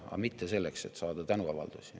Aga mitte selleks, et saada tänuavaldusi.